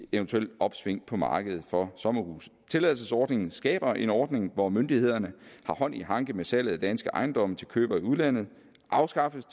eventuelt opsving på markedet for sommerhuse tilladelsesordningen skaber en ordning hvor myndighederne har hånd i hanke med salget af danske ejendomme til købere i udlandet afskaffes